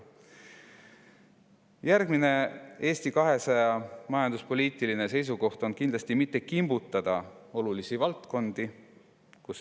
Järgmine Eesti 200 majanduspoliitiline seisukoht on see, et kindlasti mitte kimbutada olulisi valdkondi.